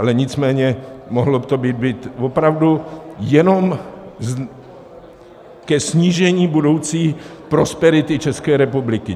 Ale nicméně mohlo by to být opravdu jenom ke snížení budoucí prosperity České republiky.